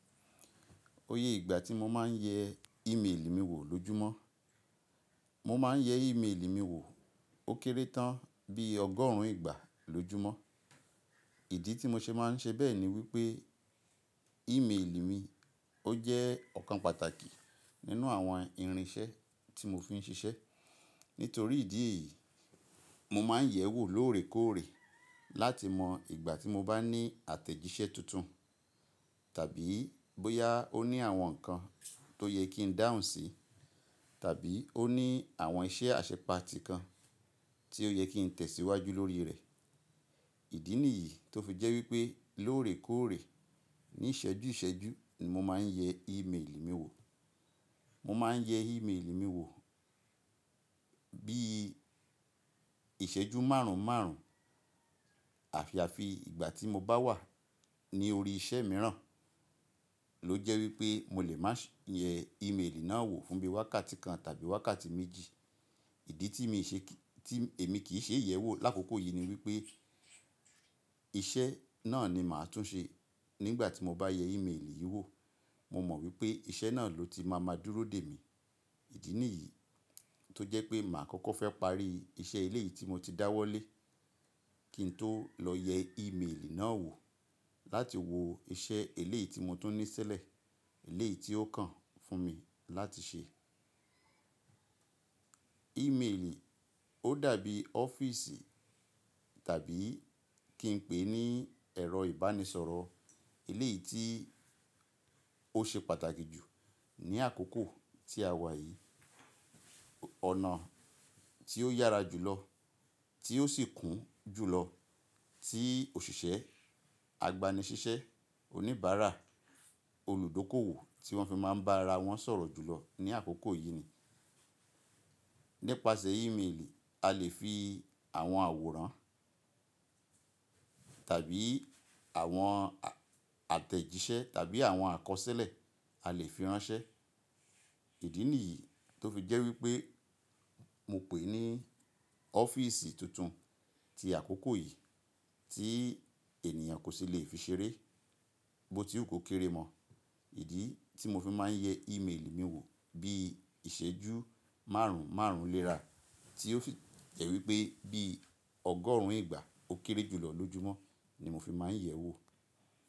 Oye ìgbà tí mo máa ń yẹ ímélì mi wò lójúmọ́, mo máa ń yẹ ímélì mi wò ó kéré tán bí ọgọ́rùn-ún ìgbà lójúmọ́. Ìdí tí mo ṣe máa ń ṣe bẹ́ẹ̀ ni wípé ímélì mi ó jẹ́ ọ̀kan pàtàkì nínú àwọn irinṣẹ́ tí mo fi ń ṣiṣẹ́. Nítorí ìdí yìí, mo máa ń yẹ̀ ẹ́ wò lóòrèkóòrè láti mọ ìgbà tí mo bá ní àtẹ̀jíṣẹ́ tuntun tàbí bóyá ó ní àwọn nǹkan tó yẹ kí n dáhùn sí tàbí ó ní àwọn iṣẹ́ àṣepati kan tí ó yẹ kí n tẹ̀síwájú lórí rẹ̀. Ìdí nìyìí tó fi jẹ́ wípé lóòrèkóòrè ní ìṣẹ́jú ìṣẹ́jú ni mo máa ń yẹ ímélì mi wò. Mo máa ń yẹ ímélì mi wò bí ìṣẹ́jú márùn-ún márùn-ún. Àyàfi ìgbà tí mo bá wà ní orí iṣẹ́ mìíràn ló jẹ́ wípé mo lè máa ṣe yẹ ímélì náà wò fúnbi wákàtí kan tàbí wákàtí méjì. Ìdí tí èmi kì í ṣe ìyẹ̀wò lákòókò yìí ni wípé iṣẹ́ náà ni màá tún ṣe nígbà tí mo bá yẹ ímélì yìí wò. Mo mọ̀ wípé iṣẹ́ náà ló ti máa máa dúró dè mí. Ìdí nìyìí tó jẹ́ pé màá kọ́kọ́ fẹ́ parí iṣẹ́ ilé yìí tí mo ti dáwọ́lé kí n tó lọ yẹ ímélì náà wò láti wo iṣẹ́ éleyi tí mo tún ní sílẹ̀, éleyi tí ó kàn fún mi láti ṣe. Ímélì ó dàbí ọ́fíìsì tàbí kí n pè é ní ẹ̀rọ ìbánisọ̀rọ̀ éleyì tí ó ṣe pàtàkì jù ní àkókò tí a wà yìí. Ọ̀nà tí ó yára jùlọ tí ó sì kún jùlọ tí òṣìṣẹ́, agbanisiṣẹ́, oníbàárà, olùdókòwò tí wọ́n fi máa ń bá ara wọn sọ̀rọ̀ jùlọ ní àkókò yìí ni. Nípasẹ̀ ímélì a lè fi àwọn àwòrán tàbí àwọn àtẹ̀jíṣẹ́ tàbí àwọn àkọsílẹ̀ a lè fi ránṣẹ́. Ìdí nìyìí tó fi jẹ́ wípé mo pè é ní ọ́fíìsì tuntun ti àkókò yìí tí ènìyàn kò sì lè fi ṣeré bó ti ò kó kéré mọ̀. Ìdí tí mo fi máa ń yẹ ímélì mi wò bí ìṣẹ́jú márùn-ún márùn-ún léra tí ó sì jẹ́ wípé bí ọgọ́rùn-ún ìgbà ó kéré jùlọ lójúmọ́ ni mo fi máa ń yẹ̀ ẹ́ wò.